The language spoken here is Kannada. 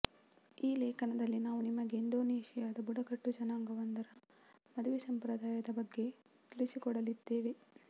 ಈ ಲೇಖನದಲ್ಲಿ ನಾವು ನಿಮಗೆ ಇಂಡೋನೇಶಿಯಾದ ಬುಡುಗಟ್ಟು ಜನಾಂಗವೊಂದರ ಮದುವೆ ಸಂಪ್ರದಾಯದ ಬಗ್ಗೆ ತಿಳಿಸಿಕೊಡಲಿದ್ದೇವೆ